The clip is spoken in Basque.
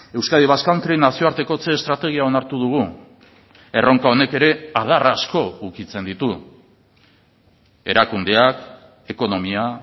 euskadi basque country nazioartekotze estrategia onartu dugu erronka honek ere adar asko ukitzen ditu erakundeak ekonomia